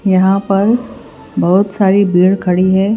यहां पर बहोत सारी भीड़ खड़ी है।